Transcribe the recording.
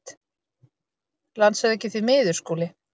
LANDSHÖFÐINGI: Því miður, Skúli.